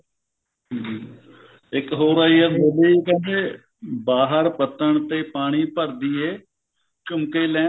ਇੱਕ ਹੋਰ ਆਈ ਆ movie ਕਹਿੰਦੇ ਬਾਹਰ ਪੱਤਨ ਤੇ ਪਾਣੀ ਭਰਦੀ ਏ ਝੁਮਕੇ ਲੈਣ